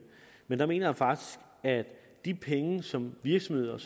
men der mener jeg faktisk at de penge som virksomheder